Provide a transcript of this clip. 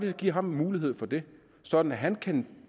at give ham mulighed for det sådan at han kan